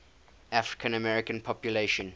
african american population